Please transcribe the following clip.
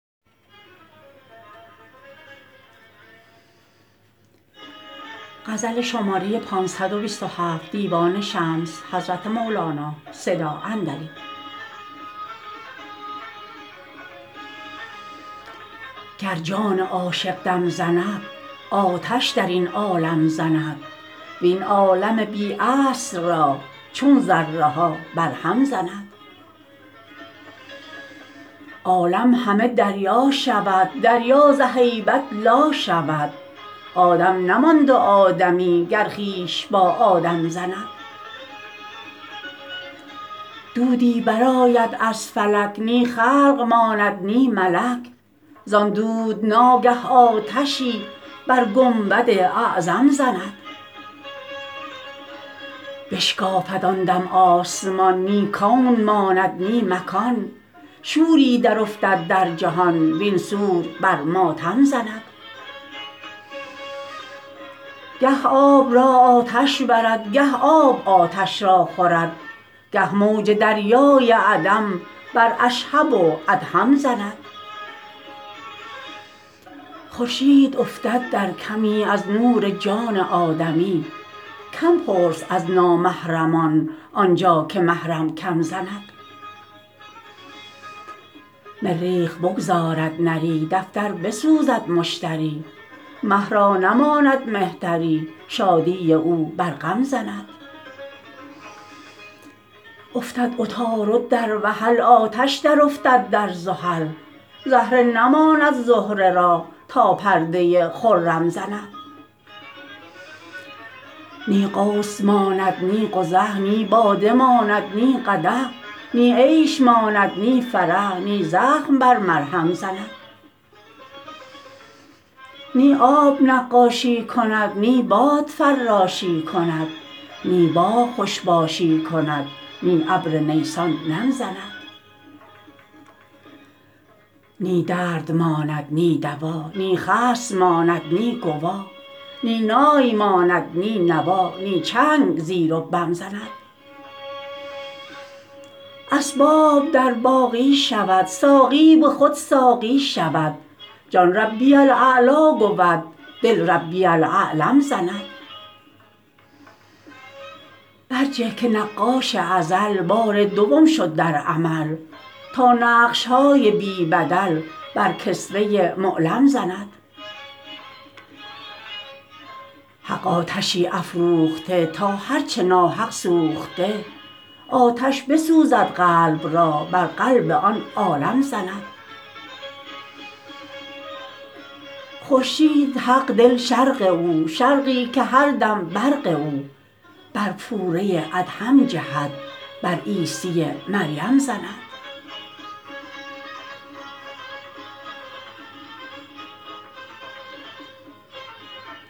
گر جان عاشق دم زند آتش در این عالم زند وین عالم بی اصل را چون ذره ها برهم زند عالم همه دریا شود دریا ز هیبت لا شود آدم نماند و آدمی گر خویش با آدم زند دودی برآید از فلک نی خلق ماند نی ملک زان دود ناگه آتشی بر گنبد اعظم زند بشکافد آن دم آسمان نی کون ماند نی مکان شوری درافتد در جهان وین سور بر ماتم زند گه آب را آتش برد گه آب آتش را خورد گه موج دریای عدم بر اشهب و ادهم زند خورشید افتد در کمی از نور جان آدمی کم پرس از نامحرمان آن جا که محرم کم زند مریخ بگذارد نری دفتر بسوزد مشتری مه را نماند مهتری شادی او بر غم زند افتد عطارد در وحل آتش درافتد در زحل زهره نماند زهره را تا پرده خرم زند نی قوس ماند نی قزح نی باده ماند نی قدح نی عیش ماند نی فرح نی زخم بر مرهم زند نی آب نقاشی کند نی باد فراشی کند نی باغ خوش باشی کند نی ابر نیسان نم زند نی درد ماند نی دوا نی خصم ماند نی گوا نی نای ماند نی نوا نی چنگ زیر و بم زند اسباب در باقی شود ساقی به خود ساقی شود جان ربی الاعلی گود دل ربی الاعلم زند برجه که نقاش ازل بار دوم شد در عمل تا نقش های بی بدل بر کسوه معلم زند حق آتشی افروخته تا هر چه ناحق سوخته آتش بسوزد قلب را بر قلب آن عالم زند خورشید حق دل شرق او شرقی که هر دم برق او بر پوره ادهم جهد بر عیسی مریم زند